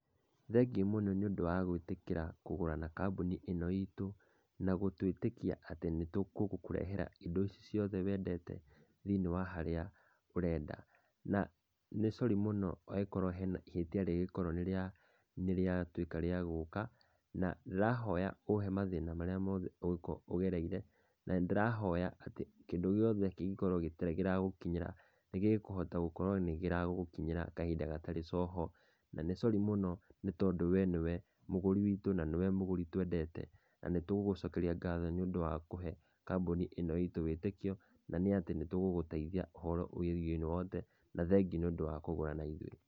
Thengiũ mũno nĩ ũndũ wa gwĩtĩkĩra kũgũra na kambuni ino itũ, na gũtũĩtĩkia atĩ nĩ tũgũkũrehera indo indo ici ciothe wendete thĩiniĩ wa harĩa ũrenda. Na nĩ cori mũno angĩkorwo hena ihĩtia rĩngĩkorwo nĩrĩatuĩka rĩa gũka na ndĩrahoya ũhe mathĩna marĩa mothe ũngĩkorwo ũgereire na nĩ ndĩrahoya atĩ kĩndu gĩothe kĩngĩkorwo gĩtarĩ kĩragũkinyĩra nĩgĩkũhota gũkorwo nĩkĩragũkinyĩra kahinda gatarĩ coho, na nĩ cori mũno nĩ tondũ we nĩwe mũgũri witũ na nĩwe mũgũri twendete. Na nĩtũgũgũcokeria ngatho nĩ ũndũ wa kũhe kambuni ĩno itũ wĩtĩkio na nĩ atĩ nĩ tũgũgũteithia ũhoro wegĩe ũndũ wothe, na thengio nĩ ũndũ wa kũgũra na ithuĩ.